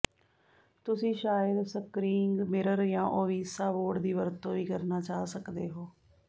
ਤੁਸੀਂ ਸ਼ਾਇਦ screening mirror ਜਾਂ ਔਵੀਸਾ ਬੋਰਡ ਦੀ ਵਰਤੋਂ ਵੀ ਕਰਨਾ ਚਾਹ ਸਕਦੇ ਹੋ